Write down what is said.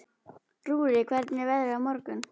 Rúrik, hvernig er veðrið á morgun?